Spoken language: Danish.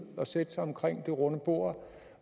og sætte sig omkring det runde bord